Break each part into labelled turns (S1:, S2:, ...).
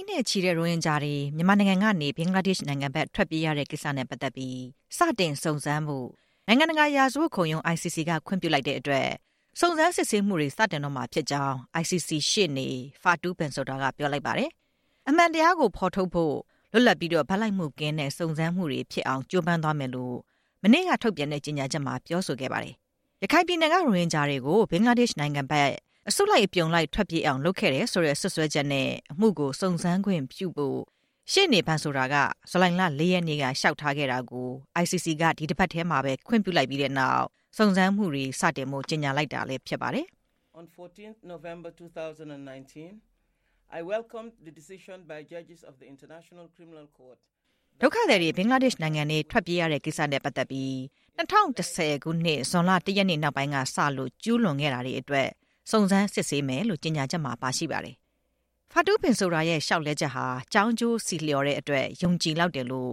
S1: န်းနဲ့ချီတဲ့ ရိုဟင်ဂျာတွေ မြန်မာနိုင်ငံကနေ ဘင်္ဂလားဒေ့ရှ် နိုင်ငံဘက် ထွက်ပြေးခဲ့ရတဲ့ကိစ္စနဲ့ ပတ်သက်ပြီး စတင်စုံစမ်းဖို့ နိုင်ငံတကာ ရာဇဝတ်ခုံရုံး (ICC) က ခွင့်ပြုလိုက်တဲ့အတွက် စုံစမ်းစစ်ဆေးမှုတွေ စတင်တော့ မှာဖြစ်ကြောင်း ICC ရှေ့နေ ဖာတူး ဘင်ဆိုဒါ (Fatou Bensouda) က ပြောလိုက်ပါတယ်။ အမှန်တရားကို ဖော်ထုတ်ဖို့ လွတ်လပ်ပြီး ဘက်လိုက်မှုကင်းတဲ့ စုံစမ်းစစ်ဆေးမှုတွေဖြစ်အောင် ကြိုးပမ်းသွားမယ် လို့လည်း မနေ့က ထုတ်ပြန်တဲ့ ကြေညာချက်မှာ ပြောဆိုခဲ့တာပါ။ ရခိုင်ပြည်နယ်က ရိုဟင်ဂျာတွေကို ဘင်္ဂလားဒေ့ရှ် နိုင်ငံဘက် အစုလိုက် အပြုံလိုက် ထွက်ပြေးအောင် လုပ်ခဲ့တယ် ဆိုတဲ့ စွပ်စွဲချက်နဲ့ အမှုကို စုံစမ်းခွင့်ပြုဖို့ ရှေ့နေ Bensouda က ဇူလိုင်လ ၄ ရက်နေ့မှာ လျှောက်ထားခဲ့တာကို ICC က ဒီတစ်ပတ်ထဲမှာပဲ ခွင့်ပြုလိုက်ပြီးနောက် စုံစမ်းမှုတွေစတင်ဖို့ ကြေညာလိုက်တာလည်း ဖြစ်ပါတယ်။ ဒုက္ခသည်တွေ ဘင်္ဂလားဒေ့ရှ်နိုင်ငံထဲကို ထွက်ပြေးခဲ့ရတဲ့ကိစ္စနဲ့ပတ်သက်ပြီး ၂၀၁၀ ခုနှစ် ဇွန်လ ၁ ရက်နေ့ နောက်ပိုင်းကစလို့ ကျူးလွန်ခဲ့တာတွေအတွက် စုံစမ်းစစ်ဆေးမယ်လို့ ကြေညာချက်မှာ ပါရှိပါတယ်။ ဖာတူး ဘင်ဆိုဒါရဲ့ လျှောက်ထားချက်ဟာ ကြောင်းကျိုးဆီလျော်တဲ့အတွက် ယုံကြည်လောက်တယ်လို့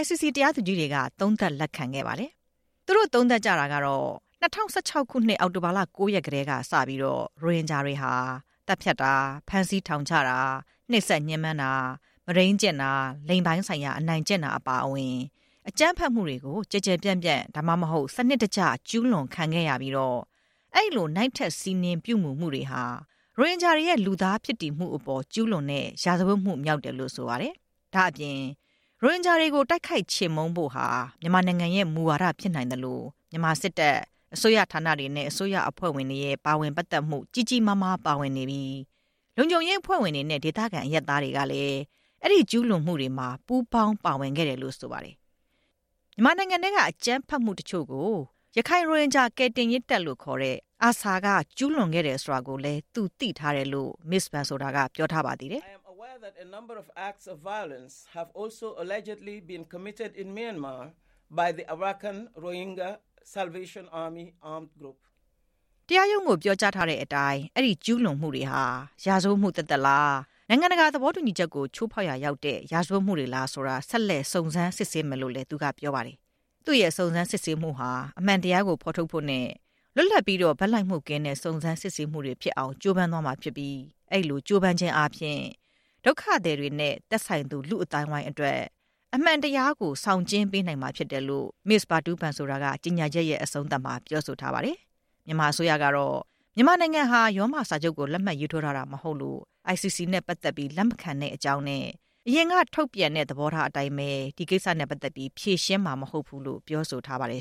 S1: ICC တရားသူကြီးတွေက သုံးသပ်လက်ခံခဲ့ပါတယ်။ သူတို့ သုံးသပ်ကြတာကတော့ ၂၀၁၆ ခုနှစ် အောက်တိုဘာလ ၉ ရက်ကတည်းကစပြီး ရိုဟင်ဂျာတွေဟာ သတ်ဖြတ်တာ၊ ဖမ်းဆီးထောင်ချတာ၊ နှိပ်စက်ညှဉ်းပန်းတာ၊ မုဒိန်း ကျင့်တာ၊ လိင်ပိုင်းဆိုင်ရာ အနိုင်ကျင့်တာ အပါအဝင် အကြမ်းဖက်မှုတွေကို ကျယ်ကျယ်ပျံ့ပျံ၊ ဒါမှမဟုတ် စနစ်တကျ ကျူးလွန်တာခံခဲ့ရပြီး အဲဒီလို နိုင့်ထက်စီးနင်းပြုမှုတွေဟာ ရိုဟင်ဂျာတွေရဲ့ လူသားဖြစ်တည်မှုအပေါ် ကျူးလွန်တဲ့ ရာဇဝတ်မှုမြောက်တယ်လို့ ဆိုပါတယ်။ ဒါ့အပြင် ရိုဟင်ဂျာတွေကို တိုက်ခိုက်ချေမှုန်းဖို့ဟာ မြန်မာနိုင်ငံရဲ့ မူဝါဒဖြစ်နိုင်သလို မြန်မာစစ်တပ်၊ အစိုးရ ဌာနတွေနဲ့ အစိုးရအဖွဲ့ဝင်တွေရဲ့ ပါဝင်ပတ်သက်မှု ကြီးကြီးမားမား ပါဝင်နေပြီး လုံခြုံရေးအဖွဲ့ဝင်တွေနဲ့ ဒေသခံအရပ်သားတွေကလည်း အဲဒီကျူးလွန်မှုတွေမှာ ပူးပေါင်းပါဝင်ခဲ့တယ်လို့ ဆိုပါတယ်။ မြန်မာနိုင်ငံထဲက အကြမ်းဖက်မှုတချို့ကို ရခိုင်ရိုဟင်ဂျာကယ်တင်ရေးတပ်လို့ခေါ်တဲ့ ARSA က ကျူးလွန်ခဲ့တယ် ဆိုတာကိုလည်း သူသိထားတယ်လို့ မစ္စဘန်ဆိုတာက ပြောထားပါသေးတယ်။ တရားရုံးကို ပြောကြားထားတဲ့ အတိုင်း အဲဒီကျူးလွန်မှုတွေဟာ ရာဇဝတ်မှုသက်သက်လား၊ နိုင်ငံတကာသဘော တူညီချက်ကို ချိုးဖောက် ရာရောက်တဲ့ ရာဇဝတ်မှုတွေလားဆိုတာ ဆက်လက်စုံစမ်းစစ်ဆေးမယ်လို့လည်းသူက ပြောပါတယ်။ သူ့ရဲ့စုံစမ်းစစ်ဆေးမှုဟာ အမှန်တရားကို ဖော်ထုတ်ဖို့နဲ့ လွတ်လပ်ပြီး ဘက်လိုက်မှုကင်းတဲ့ စုံစမ်းစစ်ဆေးမှုတွေ ဖြစ်အောင် ကြိုးပမ်းသွားမှာဖြစ်ပြီး အဲဒီလိုကြိုးပမ်းခြင်းအားဖြင့် ဒုက္ခသည်တွေနဲ့ သက်ဆိုင်သူ လူ့အသိုင်း အဝိုင်းတွေအတွက် အမှန်မတရားကို ဆောင်ကျဉ်းပေးနိုင်မှာဖြစ်တယ်လို့ မစ္စဖာတူးဘန်ဆိုတာက ကြေညာချက် ရဲ့အဆုံးသတ်မှာ ပြောဆိုထားပါတယ်။ မြန်မာအစိုးရကတော့ မြန်မာနိုင်ငံဟာ ရောမစာချုပ်ကို လက်မှတ်ရေးထိုးထားတာမဟုတ်လို့ ICC နဲ့ ပတ်သက်ပြီး လက်မခံတဲ့အကြောင်းနဲ့ အရင်ကထုတ်ပြန်တဲ့ သဘောထားအတိုင်းပဲ ဖြေရှင်းမှာမဟုတ်ဘူးလို့ ပြောဆိုထား ပါတယ်